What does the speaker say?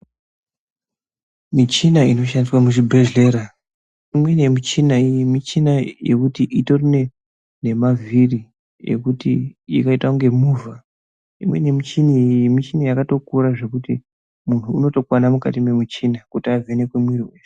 Muchina inoshandiswa muzvibhehleya imweni yemichina michina yekuti itori ne vhiri ekuzoita kunge movha imweni michina yakatokura zvekuti muntu unotokwana mukati nemuchini kuti avhenekwe miri.